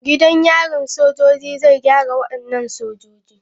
Gidan yarin soja zai gyara wadannan sojoji.